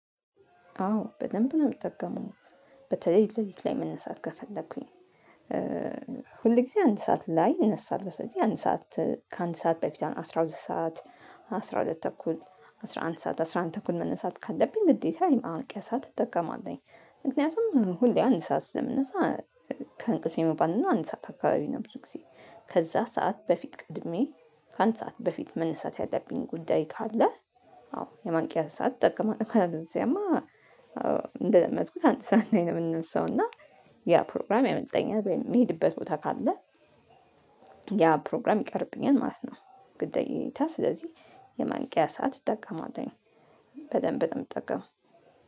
አዎ በደንብ ነው የምጠቀመው በተለይ ለሊት ላይ መነሳት ከፈለኩኝ። ሁል ጊዜ አንድ ሰዓት ላይ እነሳለሁ ስለዚህ አንድ ሰዓት ከአንድ ሰዓት በፊት አስራ ሁለት ሰዓት አስራ ሁለት ተኩል አስራ አንድ ሰዓት አስራ አንድ ተኩል መነሳት ካለብኝ ግዴታ የማንቂያ ሰዓት እጠቀማለሁኝ። ምክንያቱም ሁሌ አንድ ሰዓት ስለምነሳ ከእንቅልፌ መባንነው አንድ ሰዓት አካባቢ ነው። ብዙ ጊዜ ከዛ ሰዓት በፊት ቀድሜ ከአንድ ሰዓት በፊት መነሳት ያለብኝ ጉዳይ ካለ። አዎ የማንቂያ ሰዓት እጠቀማለሁ። ካለበለዚያማ እንደለመድኩት አንድ ሰዓት ላይ ነው የምነሳው። እና ያ ፕሮግራም ያመልጠኛል ወይም የምሄድበት ቦታ ካለ። ያ ፕሮግራም ይቀርብኛል ማለት ነው። ግዴታ ስለዚህ የማንቂያ ሰዓት እጠቀማለሁኝ። በደንብ ነው የምጠቀመው